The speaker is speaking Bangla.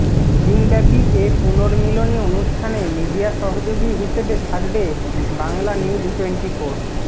দিনব্যাপী এ পূর্ণমিলনী অনুষ্ঠানে মিডিয়া সহযোগী হিসেবে থাকবে বাংলানিউজটোয়েন্টিফোর